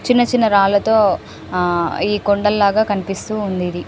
చిన్న చిన్న రాళ్లతో ఆహ్ కొండలాగా లాగా కనిపిస్తూఉంది ఇది.